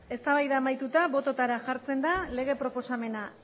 eztabaida amaituta botoetara jartzen da lege proposamena